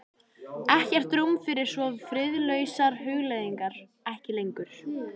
Ekkert rúm fyrir svo friðlausar hugleiðingar: ekki lengur.